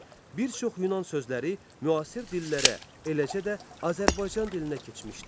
Bir çox Yunan sözləri müasir dillərə, eləcə də Azərbaycan dilinə keçmişdir.